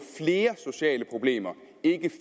flere sociale problemer ikke